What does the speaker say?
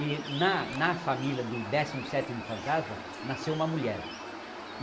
E na na família do décimo sétimo fantasma, nasceu uma mulher.